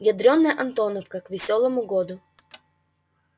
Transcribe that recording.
ядрёная антоновка к весёлому году